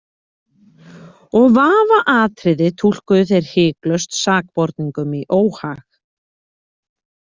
Og vafaatriði túlkuðu þeir hiklaust sakborningum í óhag.